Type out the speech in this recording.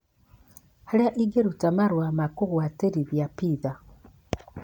Harĩa ingĩruta marua ma kugũtwarithia pizza